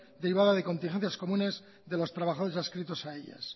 derivada de contingencias comunes de los trabajadores adscritos a ellas